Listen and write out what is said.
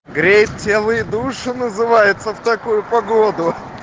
грецель и душу называется в такую погоду